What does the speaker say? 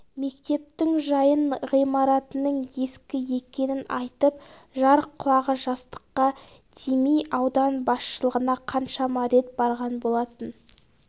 мектептің жайын ғимаратының ескі екенін айтып жар құлағы жастыққа тимей аудан басшылығына қаншама рет барған болатын